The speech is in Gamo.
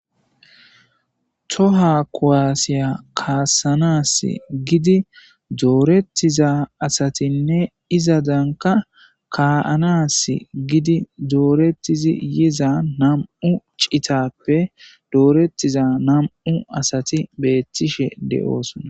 Tohuwa kuwasiya kaassanas gidin dooretida asatinne izetankka ka'anas gidin doorettidi yiza nami'u citappe dooretida nami'u asati beettishe de'osona.